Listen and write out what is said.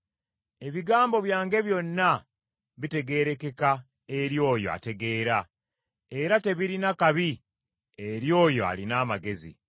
Ebigambo byange byonna bitegeerekeka eri oyo ategeera, era tebirina kabi eri oyo alina amagezi.